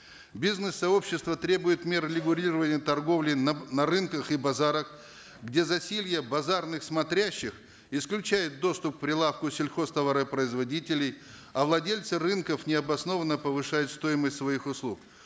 бизнес сообщество требует мер регулирования торговли на на рынках и базарах где засилье базарных смотрящих исключает доступ к прилавку сельхозтоваропроизводителей а владельцы рынков необоснованно повышают стоимость своих услуг